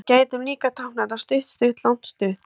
Við gætum líka táknað þetta stutt-stutt-langt-stutt.